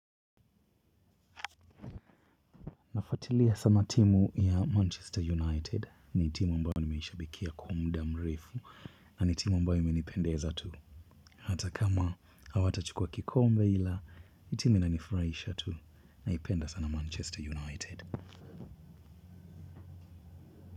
Naifuatilia sana timu ya manchester united. Ni timu ambayo nimeishabikia kwa muda mrefu na ni timu ambayo imenipendeza tu. Hata kama hawatachukua kikombe ila, hii timu inanifurahisha tu naipenda sana Manchester United.